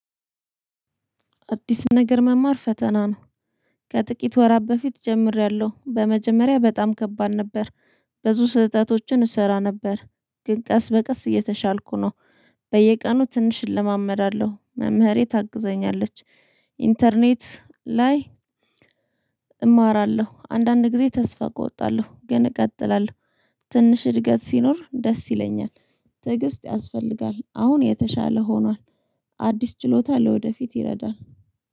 አዲስ ነገር መማር ፈተና ነው። ከጥቂት ወራት በፊት ጀምሬያለሁ በመጀመሪያ በጣም ከባድ ነበር። ብዙ ስህተቶችን እሰራ ነበር ግን ቀስ በቀስ እየተሻልኩ ነው። በየቀኑ ትንሽ እለማመዳለሁ መምህሬ ታግዘኛለች። ኢንተርኔት ላይ። እማራለሁ አንዳንድ ጊዜ ተስፋ እቆርጣለሁ ግን እቀጥላለሁ። ትንሽ እድገት ሲኖር ደስ ይለኛል። ትዕግስት ያስፈልጋል አሁን የተሻለ ሆኗል። አዲስ ችሎታ ለወደፊት ይረዳል